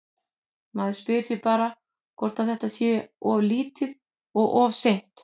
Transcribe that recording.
Maður spyr sig bara hvort að þetta sé of lítið og of seint?